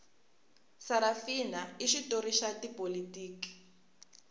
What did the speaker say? sarafina i xitori xa tipolotiki